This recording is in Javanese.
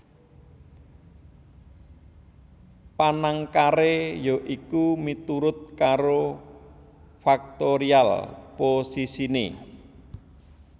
Panangkaré ya iku miturut karo faktorial posisiné